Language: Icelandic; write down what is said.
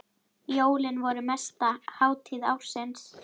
Jólin voru mesta hátíð ársins.